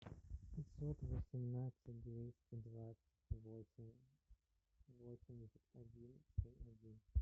пятьсот восемнадцать двести двадцать восемь восемьдесят один семь один